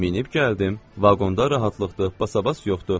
Minib gəldim, vaqonda rahatlıqdır, basabas yoxdur.